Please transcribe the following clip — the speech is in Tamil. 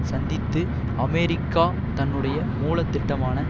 சந்தித்து அமெரிக்கா தன்னுடைய மூல திட்டமான